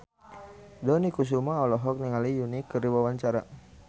Dony Kesuma olohok ningali Yui keur diwawancara